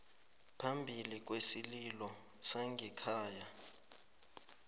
phambili kwesililo sangekhaya